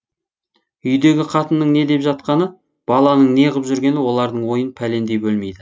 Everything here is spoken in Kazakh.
үйдегі қатынның не деп жатқаны баланың неғып жүргені олардың ойын пәлендей бөлмейді